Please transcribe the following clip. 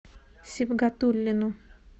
сибгатуллину